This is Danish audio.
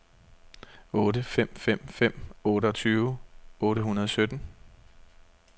otte fem fem fem otteogtyve otte hundrede og sytten